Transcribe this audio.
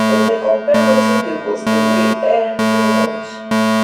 dem dey compare wetin the goat dey weigh every um month.